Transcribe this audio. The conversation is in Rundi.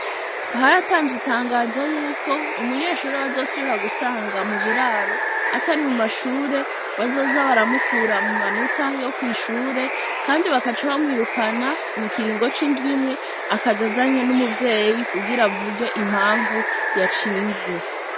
Haratanzwe itangazo yuko umunyeshure bazosubira gusanga mu buraro atari mu mashure bazoza baramukura mu manota yo mu mashure Kandi bagaca bamwirukana mukiringo c'indwi imwe akaza azanye n'umuvyeyi kugira avuge impanvu yacinvye.